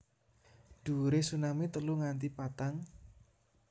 Dhuwure tsunami telu nganti patang